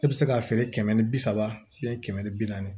E bɛ se k'a feere kɛmɛ ni bi saba kɛmɛ ni bi naani